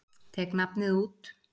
Tek nafnið út.